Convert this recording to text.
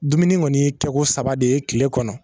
Dumuni kɔni ye kɛko saba de ye kile kɔnɔ